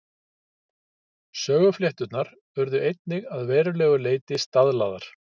Söguflétturnar urðu einnig að verulegu leyti staðlaðar.